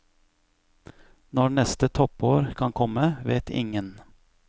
Når neste toppår kan komme, vet ingen.